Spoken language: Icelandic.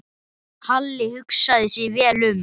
Halli hugsaði sig vel um.